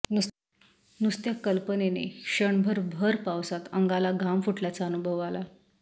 नुसत्या कल्पनेने क्षणभर भर पावसात अंगाला घाम फुटल्याचा अनुभव आला